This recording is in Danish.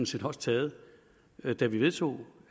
set også taget da vi vedtog